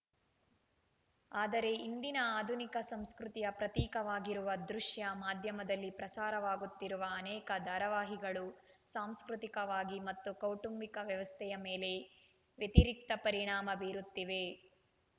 ಆದರೆ ಇಂದಿನ ಆಧುನಿಕ ಸಂಸ್ಕೃತಿಯ ಪ್ರತೀಕವಾಗಿರುವ ದೃಶ್ಯ ಮಾಧ್ಯಮದಲ್ಲಿ ಪ್ರಸಾರವಾಗುತ್ತಿರುವ ಅನೇಕ ಧಾರವಾಹಿಗಳು ಸಾಂಸ್ಕೃತಿಕವಾಗಿ ಮತ್ತು ಕೌಟುಂಬಿಕ ವ್ಯವಸ್ಥೆಯ ಮೇಲೆ ವ್ಯತಿರಿಕ್ತ ಪರಿಣಾಮ ಬೀರುತ್ತಿವೆ